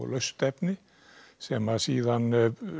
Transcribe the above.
laust efni sem síðan